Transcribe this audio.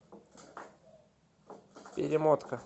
перемотка